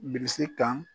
Bilisi kan